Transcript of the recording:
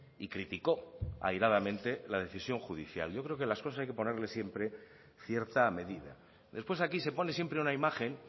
y critico airadamente la decisión judicial yo creo que las cosas hay que ponerles siempre cierta medida después aquí se pone siempre una imagen